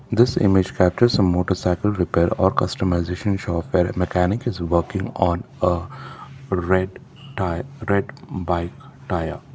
this image captures a motorcycle repair or customisation shop where a mechanic is working on a red tyre red bike tyre